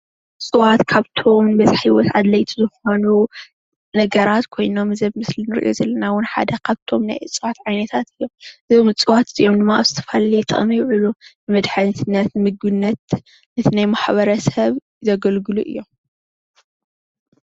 እፅዋት ካብቶም በዝሃ ሂወት ኣድለይቲ ዝኮኑ ነገራት ኮይኖም እዚ ኣብ ምስሊ ንሪኦ ዘለና እዉን ሓደ ካብቶም ናእፅዋት ዓይነታት ዞም እፅዋት እዚኦም ድማ ኣብ ዝተፈላለየ ጥቅምታት ይዉዕሉ ንመድሓኒ ንምግብነት ነቲ ናይ ማሕበረሰብ ዘገልግሉ እዮም።